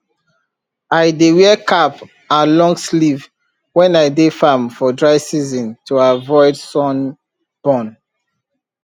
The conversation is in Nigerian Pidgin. i dey wear cap and long sleeve when i dey farm for dry season to avoid sun burn